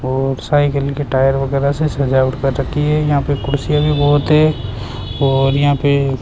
और साइकिल के टायर वगैरा से सजावट कर रखी है यहां पे कुर्सियां भी बहोत है और यहां पे --